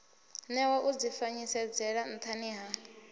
newa u dzifanyisedzele nthani ha